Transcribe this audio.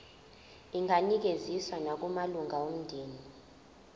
inganikezswa nakumalunga omndeni